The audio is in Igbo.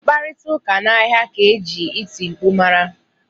Mkparịta ụka n'ahịa ka e ji iti mkpu mara